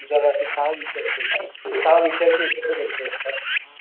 त्याच्या मध्ये जर सहा विषय असतील तर सहा विषयाचेदेयचे असतात.